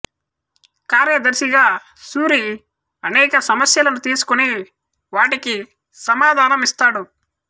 కార్యదర్శిగా సూరి అనేక సమస్యలను తీసుకొని వాటికి సమాధానం ఇస్తాడు